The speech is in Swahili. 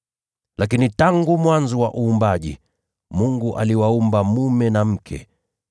Lakini tangu mwanzo wa uumbaji, ‘Mungu aliwaumba mwanaume na mwanamke.